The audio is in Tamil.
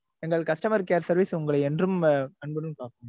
எங்கள் customer care service உங்களை என்றும் அன்புடன் காக்கும்.